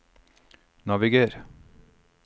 naviger